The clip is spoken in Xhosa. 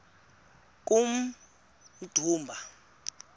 kummdumba